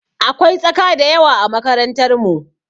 Akwai tsaka da yawa a makarantar mu.